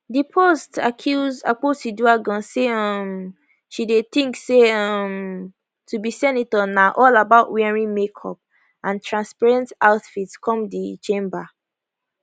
di post accuse akpotiuduaghan say um she dey think say um to be senator na all about wearing makeup and transparent outfits come di chamber